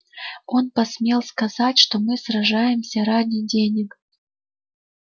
он посмел сказать что мы сражаемся ради денег